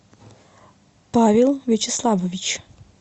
павел вячеславович